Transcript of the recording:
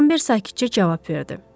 Rambert sakitcə cavab verdi.